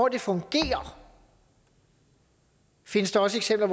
at det fungerer findes der også eksempler